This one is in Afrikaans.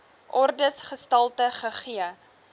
ordes gestalte gegee